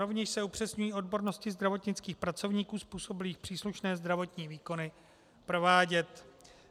Rovněž se upřesňují odbornosti zdravotnických pracovníků způsobilých příslušné zdravotní výkony provádět.